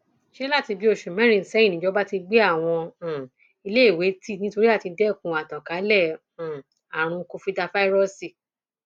ṣé láti bíi oṣù mẹrin sẹyìn nìjọba ti gbé àwọn um iléèwé tì nítorí àti dẹkun àtànkálẹ um àrùn covidàfàíróòsì